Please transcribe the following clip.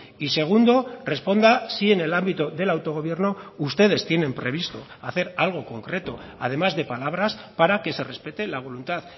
y segundo responda si en el ámbito del autogobierno ustedes tienen previsto hacer algo concreto además de palabras para que se respete la voluntad